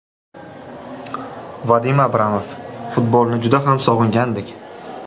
Vadim Abramov: Futbolni juda ham sog‘ingandik.